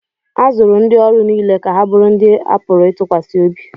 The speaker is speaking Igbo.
a zụrụ ndị ọrụ niile ka ha bụrụ ndị a pụrụ ịtụkwasị obi